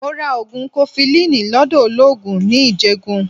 Mo ra ogun kofilini lọ́dọ̀ ologun ní Ijegun.